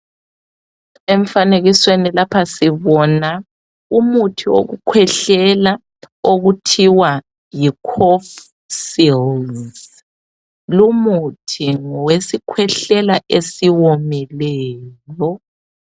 Emfanekisweni lapha sibona umuthi wokukhwehlela okuthiwa yi cofsils lumuthi ngowesikhwehlela esiwomeleyo.